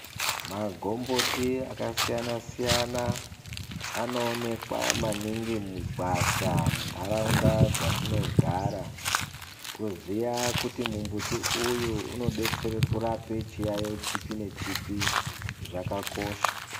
Magomboti akasiyana siyana anoonekwa muningi mugwasha munharaunda yatinogara kuziva kuti muti uyu unodetsere kurape chiyaiyo chipi nechipi zvakakosha